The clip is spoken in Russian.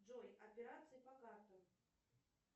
джой операции по картам